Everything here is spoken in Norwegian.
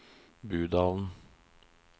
Budalen